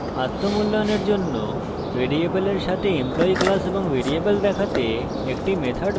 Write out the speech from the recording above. আত্ম মূল্যায়নের জন্য ভ্যারিয়েবলের সাথে employee class এবং ভ্যারিয়েবল দেখাতে একটি method বানান